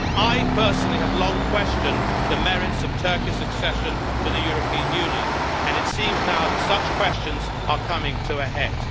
I personally have long questioned the merits of Turkey's accession to the European Union, and it seems now that such questions are coming to a head.